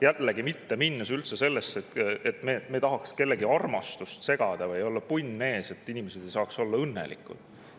Jällegi, ma ei hakka minema üldse sellesse, nagu me tahaks kellegi armastust segada või olla nagu punn ees sellel, et inimesed saaks olla õnnelikud.